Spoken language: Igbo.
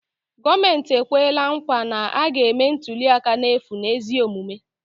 Gọọmenti ekwela nkwa na a ga-eme ntuliaka n'efu na ezi omume